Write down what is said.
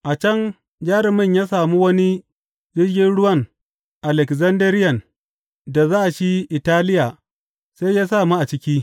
A can jarumin ya sami wani jirgin ruwan Alekzandariyan da za shi Italiya sai ya sa mu a ciki.